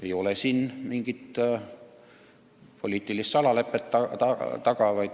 Ei ole siin taga mingit poliitilist salalepet.